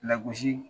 Lagosi